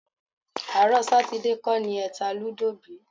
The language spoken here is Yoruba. Àárọ̀ Sátidé kọ́ ni ẹ ta lúdò bí?